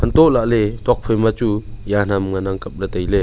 toh lahle tuakphai ma chu jan ham ngan ang kaple taile.